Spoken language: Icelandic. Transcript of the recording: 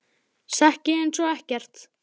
Sekk ég einsog ekkert.